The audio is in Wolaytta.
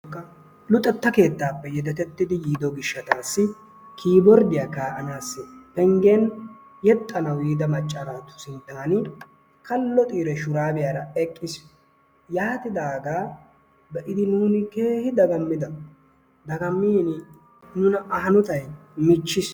luxetta keettappe yedetettidi yiido gishshatassi kiboordiyaa kaa'anassi penggen yexxana yiida macca naatu sinttan kallo xiire shurabiyaara eqqiis. Yaatidaaga be'idi nuuni keehi daggamida. Dagammiini nuna A hanotay michchiis.